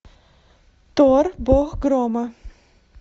тор бог грома